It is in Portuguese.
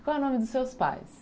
Qual é o nome dos seus pais?